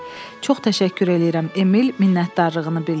Çox təşəkkür eləyirəm, Emil minnətdarlığını bildirdi.